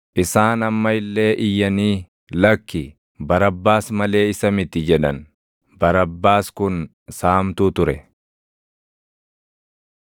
Isaan amma illee iyyanii, “Lakki, Barabbaas malee isa miti!” jedhan. Barbaas kun saamtuu ture.